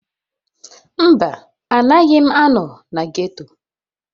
Mba, anaghị m anọ na ghetto.